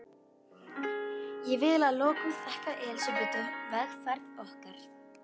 Ég vil að lokum þakka Elsabetu vegferð okkar.